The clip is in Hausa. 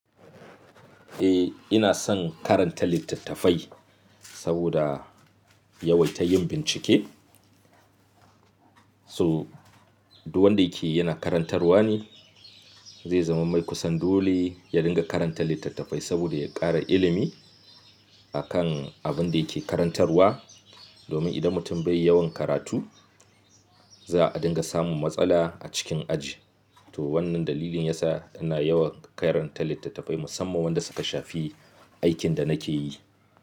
Eh ina son karanta littattafai saboda yawaita yin bincike. So, duk wanda yake yana karantarwa ne zai zama mai kusan dole ya dinga karanta littattafai saboda ya ƙara ilimi akan abin da yake karantarwa. Domin idan mutum bai yawan karatu za a dinga samun matsala a cikin aji. To wannan dalilin yasa ina yawan karanta littattafai musamman wanda suka shafi aikin da nake yi.